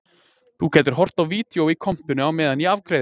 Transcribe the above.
Þú gætir horft á vídeó í kompunni á meðan ég afgreiði